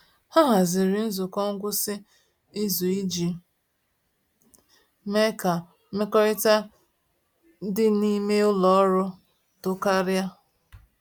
Ha haziri nzukọ ngwụsị izu iji mee ka mmekọrịta dị n’ime ụlọ ọrụ too karịa.